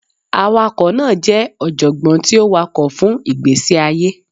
Awakọ naa jẹ ọjọgbọn ti o wakọ fun igbesi aye.